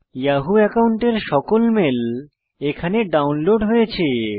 Yahoo একাউন্টের সকল mail এখানে ডাউনলোড হয়েছে